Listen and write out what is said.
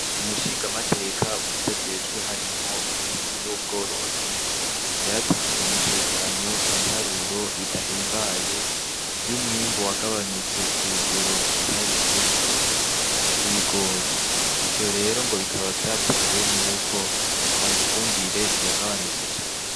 Umushingamateka muvyo ajejwe harimwo uburimyi n'ubworozi yaratanze mu cegeranyo ibiharuro bidahimbaye vy'umwimbu wagabanutse ku rugero rwiharije w'ibigori ico rero ngo bikaba vyatewe n’uko mifumbire yagabanutse cane.